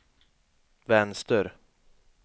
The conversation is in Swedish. vänster